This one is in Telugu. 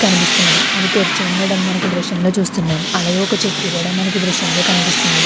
కనిపిస్తున్నది అది తెరిచి ఉండడం మనకి దృశ్యంలో చూస్తున్నాం అలాగే ఒక చెట్టు కూడా మనకు దృశ్యంలో కనిపిస్తున్నది.